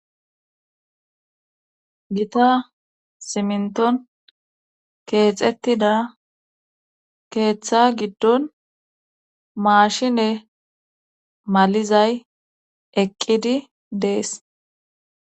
gita siminton keexettida keeththa giddon maashine malizay eqqidi dees